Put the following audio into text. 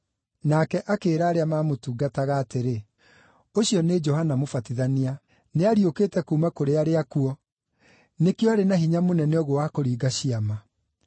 nake akĩĩra arĩa maamũtungataga atĩrĩ, “Ũcio nĩ Johana Mũbatithania; nĩ ariũkĩte kuuma kũrĩ arĩa akuũ! Nĩkĩo arĩ na hinya mũnene ũguo wa kũringa ciama.”